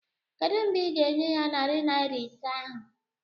Kedụ mgbe ị ga-enye ya narị naịra ise ahụ?